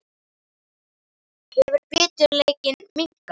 Hefur biturleikinn minnkað?